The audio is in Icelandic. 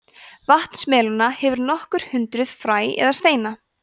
vatnsmelónur hafa nokkur hundruð fræ eða steina